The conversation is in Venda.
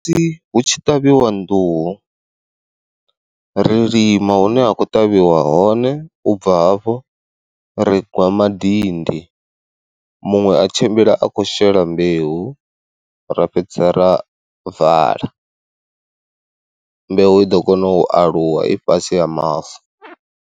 Musi hu tshi ṱavhiwa nḓuhu, ri lima hune ha khou ṱavhiwa hone ubva hafho ri gwa madindi muṅwe a tshimbila a khou shela mbeu ra fhedza ra vala, mbeu i ḓo kona u aluwa i fhasi ha mavu.